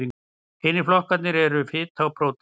Hinir flokkarnir eru fita og prótín.